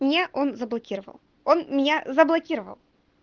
мне он заблокировал он меня заблокировал